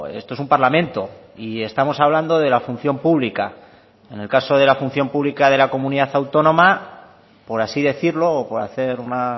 esto es un parlamento y estamos hablando de la función pública en el caso de la función pública de la comunidad autónoma por así decirlo o por hacer una